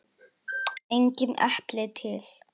Engin epli til!